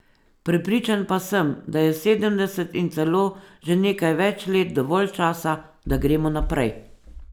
Prepričan pa sem, da je sedemdeset in celo že nekaj več let dovolj časa, da gremo naprej.